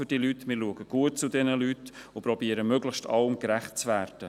Wir schauen gut für sie und versuchen, möglichst allem gerecht zu werden.